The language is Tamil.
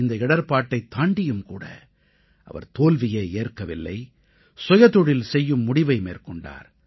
இந்த இடர்ப்பாட்டைத் தாண்டியும்கூட அவர் தோல்வியை ஏற்கவில்லை சுயதொழில் செய்யும் முடிவை மேற்கொண்டார்